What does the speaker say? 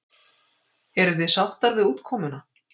Eruð þið sáttar við útkomuna?